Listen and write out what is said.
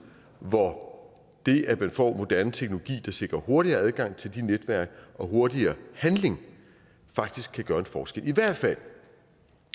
hvor det at man får moderne teknologi der sikrer hurtigere adgang til de netværk og hurtigere handling faktisk kan gøre en forskel i hvert fald at